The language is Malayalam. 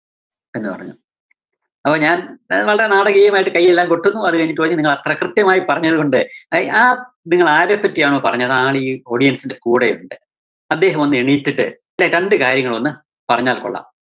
എന്നുപറഞ്ഞു. അപ്പോ ഞാന്‍ വളരെ നാടകീയമായിട്ട് കയ്യെല്ലാം കൊട്ടുന്നു. അതുകഴിഞ്ഞിട്ട് പറഞ്ഞു നിങ്ങളത്ര കൃത്യമായിട്ട്‌ പറഞ്ഞതുകൊണ്ട് ആയ് ആ നിങ്ങളാരെ പറ്റിയാണോ പറഞ്ഞത് ആളീ audience ന്റെ കൂടെയുണ്ട്, അദ്ദേഹം ഒന്നെനീറ്റിട്ട് ദേ രണ്ടു കാര്യങ്ങളൊന്നു പറഞ്ഞാല്‍ കൊള്ളാം.